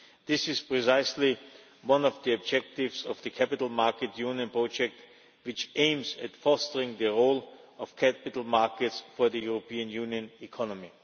This is precisely one of the objectives of the Capital Market Union project, which aims at fostering the role of capital markets for the European Union economy.